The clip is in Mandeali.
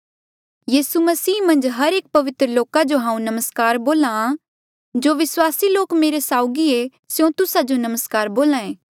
यीसू मसीह मन्झ हर एक पवित्र लोका जो हांऊँ नमस्कार बोल्हा जो विस्वासी लोक मेरे साउगी ऐें स्यों तुस्सा जो नमस्कार बोल्हा ऐें